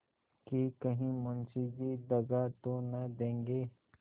कि कहीं मुंशी जी दगा तो न देंगे